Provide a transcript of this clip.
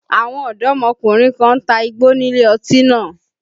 Àwọn ọ̀dọ́mọkùnrin kan ń ta igbó nílé ọtí náà